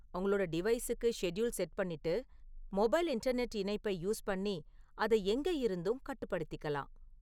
உங்களோட டிவைஸுக்கு schedule set பண்ணிட்டு, மொபைல் இன்டர்நெட் இணைப்பைப் யூஸ் பண்ணி அதை எங்க இருந்தும் கட்டுப்படுத்திக்கலாம்